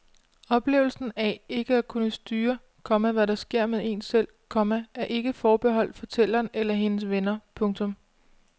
Oplevelsen af ikke at kunne styre, komma hvad der sker med en selv, komma er ikke forbeholdt fortælleren eller hendes venner. punktum